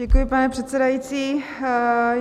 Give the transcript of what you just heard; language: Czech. Děkuji, pane předsedající.